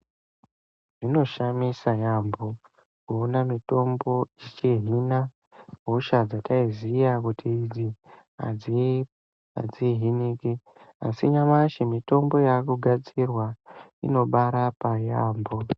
Zvinoshamisa yaamho kuona mitombo ichihina hosha dzataiziya kuti idzi adzihiniki asi nyamashi mitombo yakugadzirwa inobarapa yaamho.